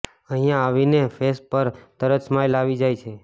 અહિયા આવીને ફેસ પર તરત સ્માઇલ આવી જાય છે